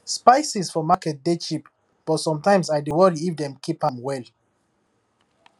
spices for market dey cheap but sometimes i dey worry if dem keep am well